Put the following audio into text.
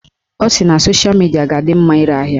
Ọ sị na sosha midia ga-adị mma ire ahịa